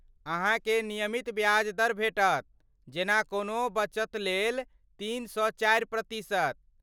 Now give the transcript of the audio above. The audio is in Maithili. अहाँकेँ नियमित ब्याज दर भेटत, जेना कोनो बचतलेल तीन सँ चारि प्रतिशत।